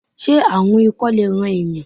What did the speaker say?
Se aarun ikọ le ran eeyan?